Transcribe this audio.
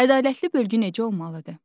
Ədalətli bölgü necə olmalıdır?